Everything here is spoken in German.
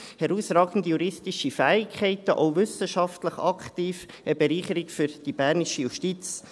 Sie hat herausragende juristische Fähigkeiten, ist auch wissenschaftlich aktiv und ist eine Bereicherung für die bernische Justiz.